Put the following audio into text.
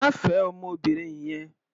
Má fẹ ọmọbìnrin yẹn.